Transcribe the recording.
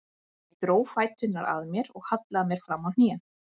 Ég dró fæturna að mér og hallaði mér fram á hnén.